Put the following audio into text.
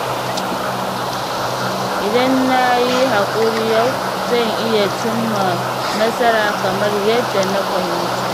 Idan na yi haƙuri yau, zan iya cimma nasara kamar yadda na fahimta.